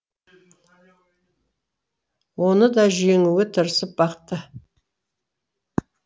оны да жеңуге тырысып бақты